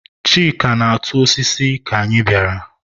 Chika na-atụ osisi ka anyị bịara.